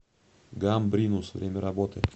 гамбринус время работы